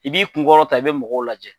I b'i kun kɔrɔtan i be mɔgɔw lajɛ.